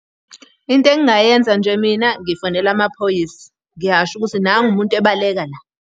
Into engingayenza nje mina ngifonela amaphoyisa. Ngiyasho ukuthi nangu umuntu ebaleka la.